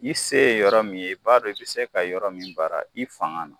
I se ye yɔrɔ min ye i b'a dɔn i bɛ se ka yɔrɔ min baara i fanga na